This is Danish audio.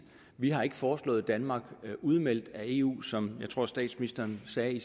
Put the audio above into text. vi har ikke foreslået danmark udmeldt af eu som jeg tror statsministeren sagde i